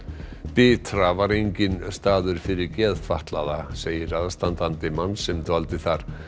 bitra var enginn staður fyrir geðfatlaða segir aðstandandi manns sem dvaldi þar